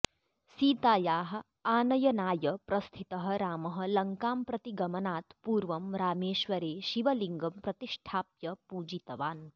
सीतायाः आनयनाय प्रस्थितः रामः लङ्कां प्रति गमनात् पूर्वं रामेश्वरे शिवलिङ्गं प्रतिष्ठाप्य पूजितवान्